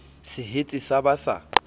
se hetse sa ba sa